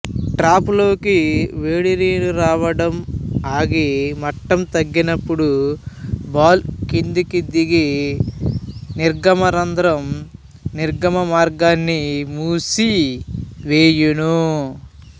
trap లోకి వేడి నిరు రావడం ఆగి మట్టం తగ్గినప్పుడు బాల్ కిందికి దిగి నిర్గమరంద్రంనిర్గమ మార్గాన్ని మూసి వేయును